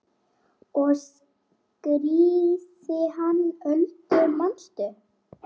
Ég skírði hana Öldu manstu.